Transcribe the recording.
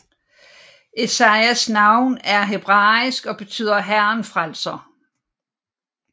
Esajas navn er hebraisk og betyder Herren frelser